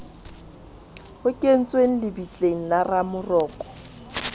kentsweng lebitleng la ramoroko le